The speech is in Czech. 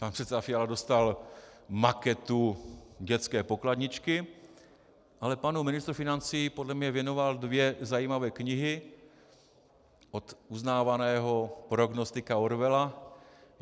Pan předseda Fiala dostal maketu dětské pokladničky, ale panu ministru financí podle mě věnoval dvě zajímavé knihy od uznávaného prognostika Orwella.